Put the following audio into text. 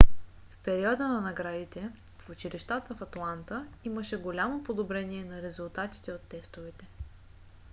в периода на наградите в училищата в атланта имаше голямо подобрение на резултатите от тестовете